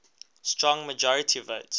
strong majority votes